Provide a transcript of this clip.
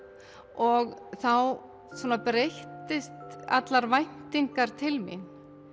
og þá breyttust allar væntingar til mín